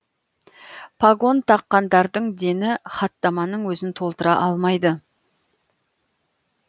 погон таққандардың дені хаттаманың өзін толтыра алмайды